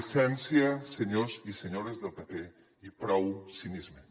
decència senyors i senyores del pp i prou cinisme